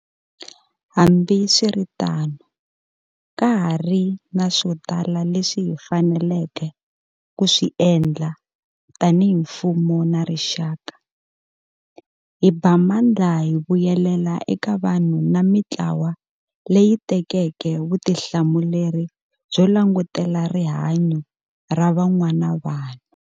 Hambiswiritano, ka ha ri na swo tala leswi hi faneleke ku swi endla tanihi mfumo na rixaka. Hi ba mandla hi vuyelela eka vanhu na mitlawa leyi tekeke vutihlamuleri byo langutela rihanyo ra van'wana vanhu.